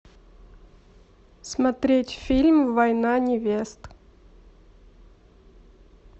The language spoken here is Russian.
смотреть фильм война невест